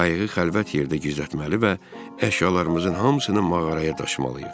biz qayığı xəlvət yerdə gizlətməli və əşyalarımızın hamısını mağaraya daşımalıyıq.